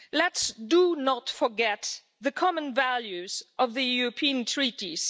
Let's not forget the common values of the European treaties.